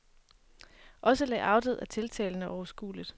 Også layoutet er tiltalende og overskueligt.